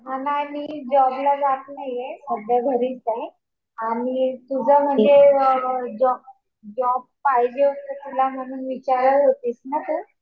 नाही. मी जॉबला जात नाहीये. सध्या घरीच आहे. आणि तुझं म्हणजे जॉब पाहिजे असेल तुला म्हणून विचारत होतीस ना तू.